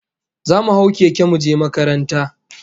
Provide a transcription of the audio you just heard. Zamu hau keke muje makaranta